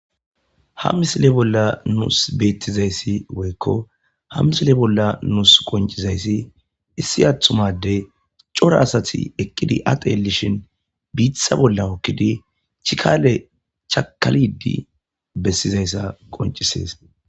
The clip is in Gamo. ha misile bolla nuus beettizayssi woykko ha misile bolla nuus qoncizayssi issi athumadey cora asati eqqidi atelishin biitha bolla okkidi chikale chakalidi bessizayssa qoncisees